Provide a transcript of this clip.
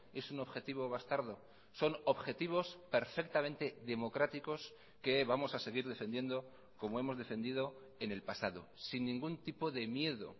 es un objetivo bastardo son objetivos perfectamente democráticos que vamos a seguir defendiendo como hemos defendido en el pasado sin ningún tipo de miedo